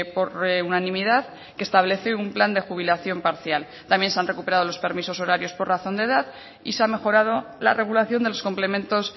por unanimidad que establece un plan de jubilación parcial también se han recuperado los permisos horarios por razón de edad y se ha mejorado la regulación de los complementos